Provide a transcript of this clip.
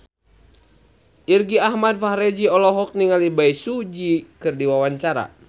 Irgi Ahmad Fahrezi olohok ningali Bae Su Ji keur diwawancara